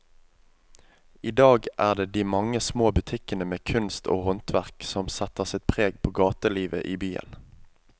I dag er det de mange små butikkene med kunst og håndverk som setter sitt preg på gatelivet i byen.